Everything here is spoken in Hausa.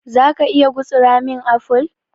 za ka/ ki iya gutsura min apple?